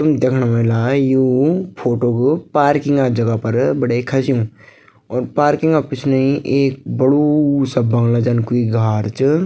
तुम दिखणा ह्वेला यू फोटोक् पार्किंग जगह फर भठै खच्यूं अर पार्किंग क् पिछने एक बडू सा बंगला जन कुई घार च --